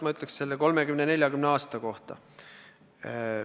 Kõigepealt sellest 30–40 aastast.